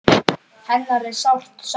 Hennar er sárt saknað.